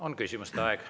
On küsimuste aeg.